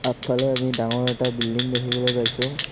আগফালে আমি ডাঙৰ এটা বিল্ডিং দেখিবলৈ পাইছোঁ।